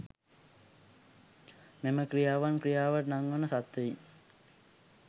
මෙම ක්‍රියාවන් ක්‍රියාවට නංවන සත්ත්වයින්